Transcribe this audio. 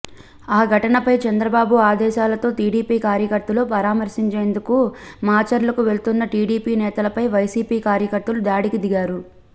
ఆ ఘటనపై చంద్రబాబు ఆదేశాలతో టీడీపీ కార్యకర్తలను పరామర్శంచేందుకు మాచర్లకు వెళ్తున్న టీడీపీ నేతలపై వైసీపీ కార్యకర్తలు దాడికి దిగారు